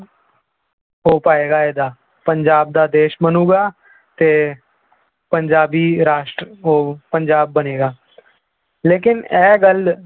ਹੋ ਪਾਏਗਾ ਇਹਦਾ ਪੰਜਾਬ ਦਾ ਦੇਸ ਬਣੇਗਾ ਤੇ ਪੰਜਾਬੀ ਰਾਸ਼ਟਰ ਉਹ ਪੰਜਾਬ ਬਣੇਗਾ ਲੇਕਿੰਨ ਇਹ ਗੱਲ